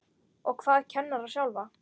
Og hvað kennara sjálfa?